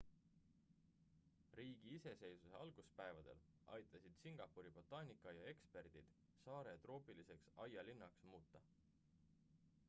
riigi iseseisvuse alguspäevadel aitasid singapuri botaanikaaia eksperdid saare troopiliseks aialinnaks muuta